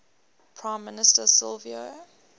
prime minister silvio